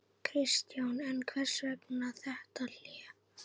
Kristján: En hvers vegna þetta hlé?